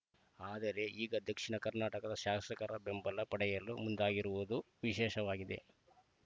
ಆದರೆ ಈಗ ದಕ್ಷಿಣ ಕರ್ನಾಟಕದ ಶಾಸಕರ ಬೆಂಬಲ ಪಡೆಯಲು ಮುಂದಾಗಿರುವುದು ವಿಶೇಷವಾಗಿದೆ